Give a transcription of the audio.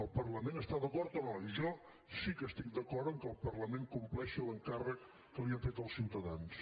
al parlament hi està d’acord o no jo sí que estic d’acord que el parlament compleixi l’encàrrec que li han fet els ciutadans